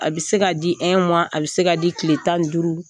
A bɛ se ka di a bɛ se ka di tile tan ni duuru